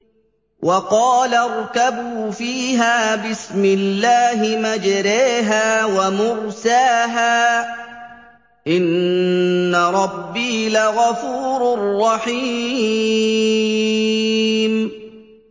۞ وَقَالَ ارْكَبُوا فِيهَا بِسْمِ اللَّهِ مَجْرَاهَا وَمُرْسَاهَا ۚ إِنَّ رَبِّي لَغَفُورٌ رَّحِيمٌ